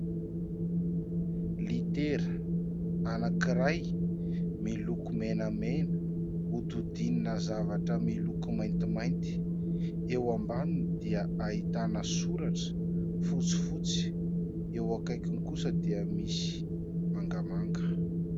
Litera anankiray miloko menamena hodidinina zavatra miloko maintimainty. Eo ambaniny dia ahitana soratra fotsifotsy. Eo akaikiny kosa dia misy mangamanga.